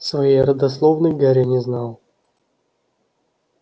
своей родословной гарри не знал